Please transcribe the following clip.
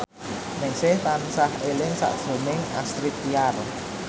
Ningsih tansah eling sakjroning Astrid Tiar